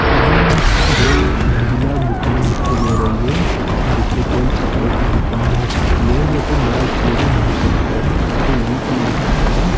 सामने दो मंजिला दुकान दिखाई दे रही है जैसे कोई कपड़े की दुकान हो सकती है या कोई बड़ा शोरूम हो सकता है उसपे वी टु लिखा हुआ है।